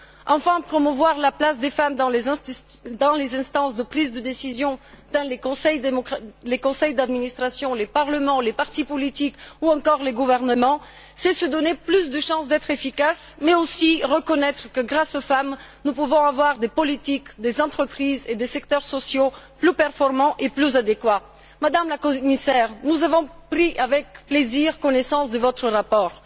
Enfin, promouvoir la place des femmes dans les instances de prise de décision, dans les conseils d'administration, les parlements, les partis politiques ou encore les gouvernements, c'est se donner plus de chance d'être efficaces, mais aussi reconnaître que, grâce aux femmes, nous pouvons avoir des politiques, des entreprises et des secteurs sociaux plus performants et plus adéquats. Madame la Commissaire, nous avons pris avec plaisir connaissance de votre rapport.